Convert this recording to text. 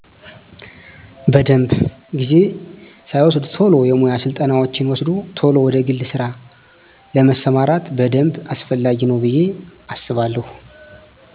በደንብ። ጊዜ ሳይወስድ ቶሎ የሙያ ስልጠናወችን ወስዶ ቶሎ ወደ ግል ስራ ለመስማራት በደንብ አስፈላጊ ነው ብየ አስባለው።